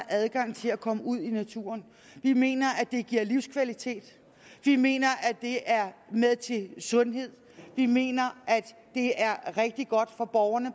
adgang til at komme ud i naturen vi mener at det giver livskvalitet vi mener at det er med til at give sundhed vi mener at det er rigtig godt for borgerne